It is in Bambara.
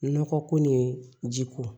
Nɔgɔ ko ni ji ko